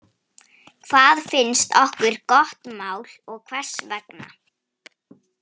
Hvað finnst okkur gott mál, og hvers vegna?